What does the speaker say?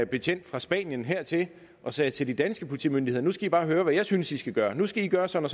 betjent fra spanien hertil og sagde til de danske politimyndigheder nu skal i bare høre hvad jeg synes i skal gøre nu skal i gøre sådan